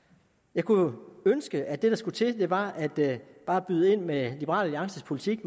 jeg kunne jo ønske at det der skulle til var bare at byde ind med liberal alliances politik